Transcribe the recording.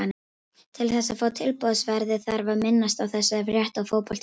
Til þess að fá tilboðsverðið þarf að minnast á þessa frétt á Fótbolti.net.